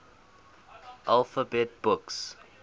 alphabet books